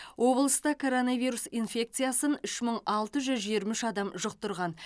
облыста коронавирус инфекциясын үш мың алты жүз жиырма үш адам жұқтырды